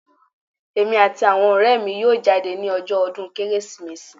Èmi àti àwọn ọrẹ mi yóò jáde ni ọjọ́ ọdún Kérésìmesì.